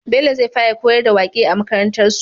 Bello zai fara koyar da waƙe a makarantar su